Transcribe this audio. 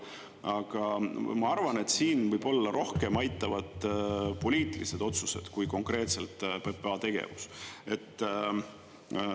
Aga ma arvan, et siin võib-olla rohkem aitavad poliitilised otsused, kui konkreetselt PPA tegevus.